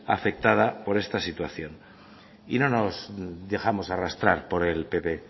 afectada por esta situación y no nos dejamos arrastrar por el pp